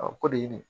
ko de ye